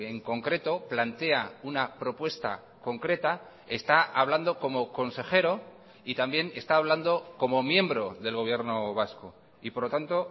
en concreto plantea una propuesta concreta está hablando como consejero y también está hablando como miembro del gobierno vasco y por lo tanto